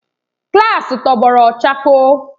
klaasị tọgbọrọ chakoo.